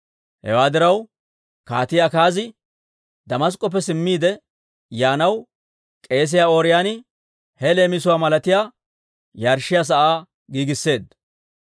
Hewaa diraw, Kaatii Akaazi Damask'k'oppe simmiide yaanaw, k'eesiyaa Ooriyooni he leemisuwaa malatiyaa yarshshiyaa sa'aa giigisseedda.